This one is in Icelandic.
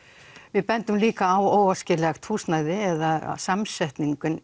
við bendum líka á óæskilegt húsnæði eða samsetningu